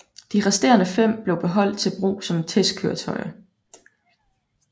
De resterende fem blev beholdt til brug som testkøretøjer